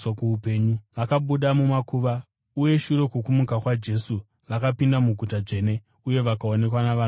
Vakabuda mumakuva, uye shure kwokumuka kwaJesu vakapinda muguta dzvene uye vakaonekwa navanhu vazhinji.